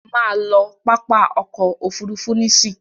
Má lọ pápá ọkọ̀ òfurufú nísìí!